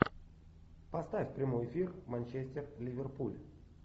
поставь прямой эфир манчестер ливерпуль